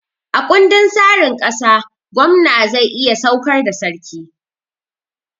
A ƙundin tsarin ƙasa, gwamna zai iya saukar da sarki